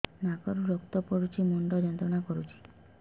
ନାକ ରୁ ରକ୍ତ ପଡ଼ୁଛି ମୁଣ୍ଡ ଯନ୍ତ୍ରଣା କରୁଛି